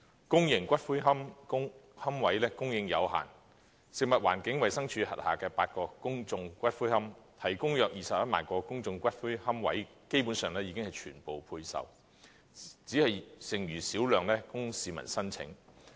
公營骨灰龕位供應有限，食物環境衞生署轄下的8個公眾骨灰安置所，提供約21萬個的公眾龕位基本上已全部配售，只餘小量供市民申請。